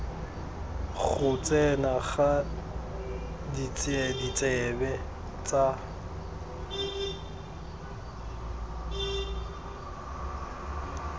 go tsena ga ditsebe tsa